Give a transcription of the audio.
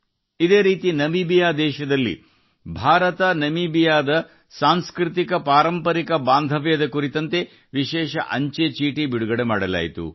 ಅದೇ ರೀತಿ ನಮೀಬಿಯಾದಲ್ಲಿ ಇಂಡೋನಮೀಬಿಯಾ ಸಾಂಸ್ಕೃತಿಕಸಾಂಪ್ರದಾಯಿಕ ಸಂಬಂಧಗಳ ಕುರಿತು ವಿಶೇಷ ಅಂಚೆಚೀಟಿ ಬಿಡುಗಡೆ ಮಾಡಲಾಗಿದೆ